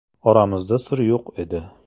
Oramizda sir yo‘q edi.